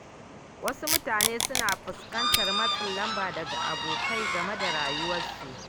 Wasu mutane suna fuskantar matsin lamba daga abokai game da rayuwarsu.